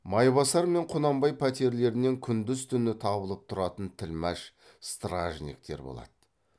майбасар мен құнанбай пәтерлерінен күндіз түні табылып тұратын тілмәш стражниктер болады